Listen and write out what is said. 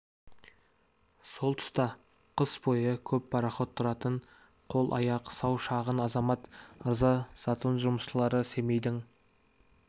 сол тұста қыс бойы көп пароход тұратын қол-аяқ сау шағына азамат ырза затон жұмысшылары семейдің